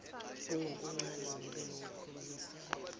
ngokuncane ngibe nokukhulumisana